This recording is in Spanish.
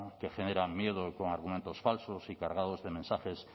que generan miedo con argumentos falsos y cargados de mensajes